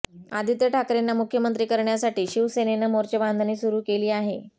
आदित्य ठाकरेंना मुख्यमंत्री करण्यासाठी शिवसेनेनं मोर्चेबांधणी सुरू केली आहे